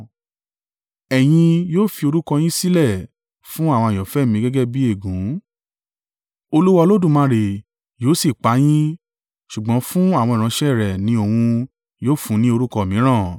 Ẹ̀yin yóò fi orúkọ yín sílẹ̀ fún àwọn àyànfẹ́ mi gẹ́gẹ́ bí ègún; Olúwa Olódùmarè yóò sì pa yín, ṣùgbọ́n fún àwọn ìránṣẹ́ rẹ̀ ni òun yóò fún ní orúkọ mìíràn.